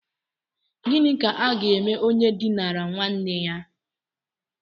Gịnị ka aga eme onye dinara nwanne ya?